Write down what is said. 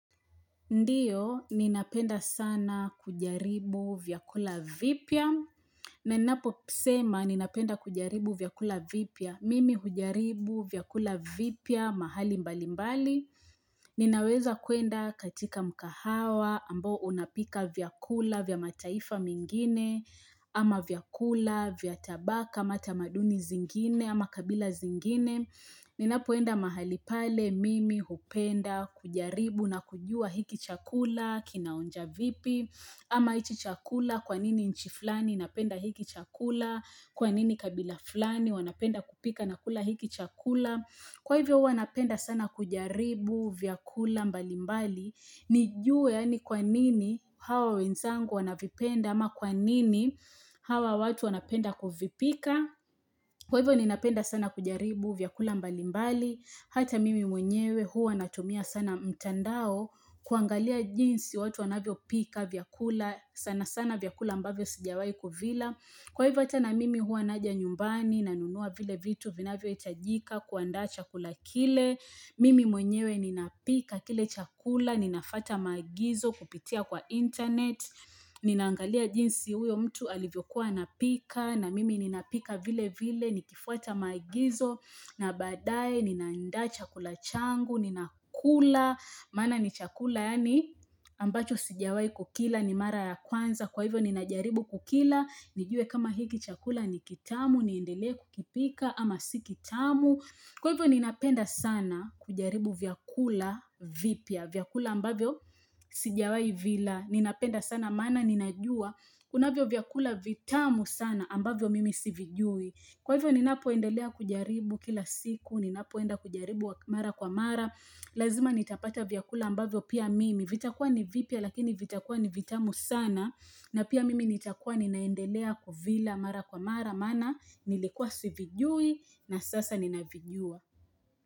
Ndiyo, ninapenda sana kujaribu vyakula vipya. Nenapo pusema, ninapenda kujaribu vyakula vipya. Mimi hujaribu vyakula vipya mahali mbali mbali. Ninaweza kuenda katika mkahawa ambo unapika vyakula vyamataifa mingine ama vyakula vyatabaka mata maduni zingine ama kabila zingine. Ninapoenda mahali pale mimi hupenda kujaribu na kujua hiki chakula, kinaonja vipi, ama ichi chakula kwanini nchi fulani inapenda hiki chakula, kwanini kabila fulani wanapenda kupika na kula hiki chakula. Kwa hivyo hua napenda sana kujaribu vyakula mbalimbali nijue yani kwa nini hawa wenzangu wanavipenda ama kwa nini hawa watu wanapenda kuvipika Kwa hivyo ninapenda sana kujaribu vyakula mbalimbali Hata mimi mwenyewe hua natumia sana mtandao kuangalia jinsi watu wanavyo pika vyakula sana sana vyakula ambavyo sijawai kuvila Kwa hivota na mimi hua naja nyumbani na nunua vile vitu vina vivyo itajika kuanda chakula kile, mimi mwenyewe nina pika kile chakula, ninafata maagizo kupitia kwa internet, Ninaangalia jinsi huyo mtu alivyokuwa napika na mimi nina pika vile vile nikifuata maagizo na badae ninaanda chakula changu, nina kula, maana ni chakula yani ambacho sijawai kukila ni mara ya kwanza. Kwa hivyo ninajaribu kukila, nijue kama hiki chakula ni kitamu, niendelea kukipika ama si kitamu. Kwa hivyo ninapenda sana kujaribu vyakula vipya. Vyakula ambavyo sijawai vila. Ninapenda sana mana ninajua. Kuna vyo vyakula vitamu sana ambavyo mimi sivijui. Kwa hivyo ninapoendelea kujaribu kila siku, ninapoenda kujaribu mara kwa mara, lazima nitapata vyakula ambavyo pia mimi, vitakua ni vipia lakini vitakua ni vitamu sana, na pia mimi nitakua ninaendelea kuvila mara kwa mara, mana nilikuwa sivijui na sasa ninavijua.